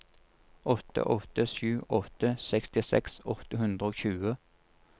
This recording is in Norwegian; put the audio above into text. åtte åtte sju åtte sekstiseks åtte hundre og tjue